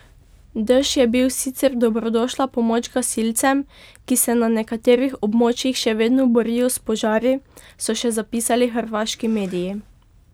Dež je bil sicer dobrodošla pomoč gasilcem, ki se na nekaterih območjih še vedno borijo s požari, so še zapisali hrvaški mediji.